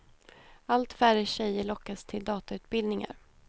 Allt färre tjejer lockas till datautbildningar.